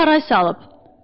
Qız da haray salıb.